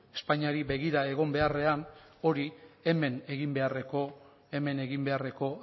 espainiari begira egin beharrean hori hemen egin beharreko